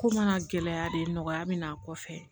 Ko mana gɛlɛya de nɔgɔya bɛ n'a kɔfɛ